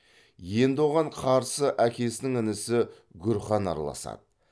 енді оған қарсы әкесінің інісі гүр хан араласады